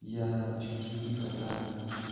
я чуть не убил кота